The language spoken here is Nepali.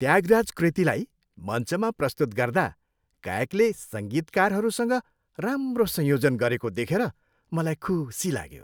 त्यागराज कृतिलाई मञ्चमा प्रस्तुत गर्दा गायकले सङ्गीतकारहरूसँग राम्रो संयोजन गरेको देखेर मलाई खुसी लाग्यो।